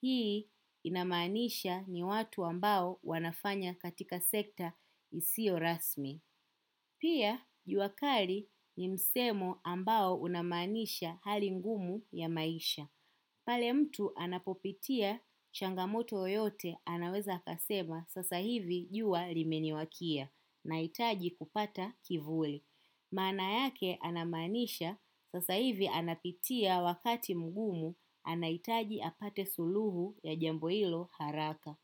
Hii inamaanisha ni watu ambao wanafanya katika sekta isio rasmi. Pia juakali ni msemo ambao unamaanisha hali ngumu ya maisha. Pale mtu anapopitia changamoto yoyote anaweza akasema sasa hivi jua limeniwakia na hitaji kupata kivuli. Maana yake anamaanisha sasa hivi anapitia wakati mgumu anahitaji apate suluhu ya jambo hilo haraka.